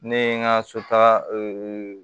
Ne ye n ka so taga